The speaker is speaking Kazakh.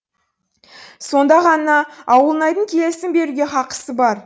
сонда ғана ауылнайдың келісім беруге хақысы бар